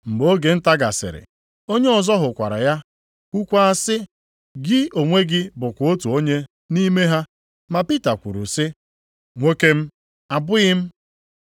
Mgbe oge nta gasịrị, onye ọzọ hụkwara ya kwukwaa sị, “Gị onwe gị bụkwa otu onye nʼime ha.” Ma Pita kwuru sị, “Nwoke m, abụghị m.”